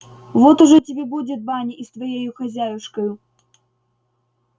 вот ужо тебе будет баня и с твоею хозяюшкою